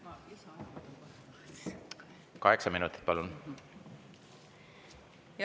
Kaheksa minutit, palun!